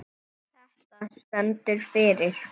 Þetta stendur fyrir